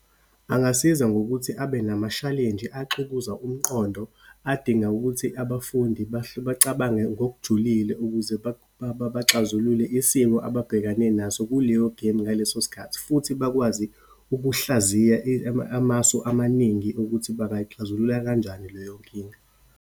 Angasiza ngokuthi abe namashalenji axukuza umqondo, adinga ukuthi abafundi bacabange ngokujulile ukuze baxazulule isimo ababhekane naso kuleyo gemu, ngaleso sikhathi. Futhi bakwazi ukuhlaziya amasu amaningi ukuthi bangayixazulula kanjani leyo nkinga.